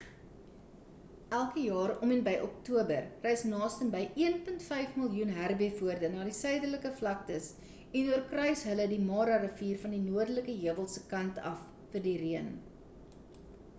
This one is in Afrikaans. elke jaar om en by oktober reis nastenby 1.5 miljoen herbivore na die suiderlike vlaktes en oorkruis hulle die mara rivier van die noordelike heuwels se kant af vir die reën